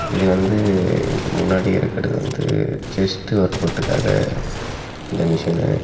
இது வந்து முன்னாடி இருக்கறது வந்து செஸ்ட் ஒர்க்கொட்டுக்காக இந்த மெஷினு .